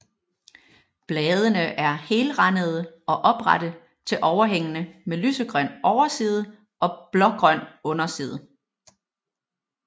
Bladene er helrandede og oprette til overhængende med lysegrøn overside og blågrøn underside